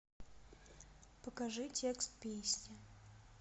покажи текст песни